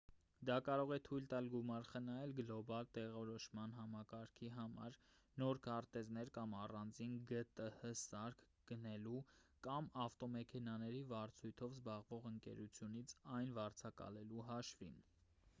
դա կարող է թույլ տալ գումար խնայել գլոբալ տեղորոշման համակարգի համար նոր քարտեզներ կամ առանձին գտհ սարք գնելու կամ ավտոմեքենաների վարձույթով զբաղվող ընկերությունից այն վարձակալելու հաշվին